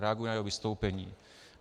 Reaguji na jeho vystoupení.